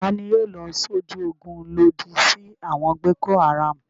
Ta ni yóò lọ sójú ogun lòdì sí àwọn Boko-Haram?